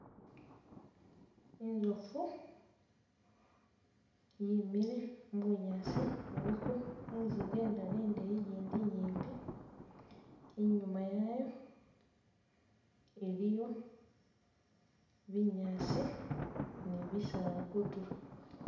Inzofu yimile mu bunyaasi iliko inziga indala indeyi ijindi inyipi, inyuma yayo iliyo binyaasi ni bisaala kutulo